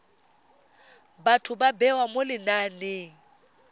batho ba bewa mo lenaneng